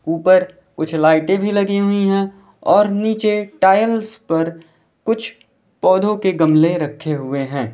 ऊपर कुछ लाइटे भी लगी हुई है और नीचे टाइल्स पर कुछ पौधों के गमले रखे हुए है।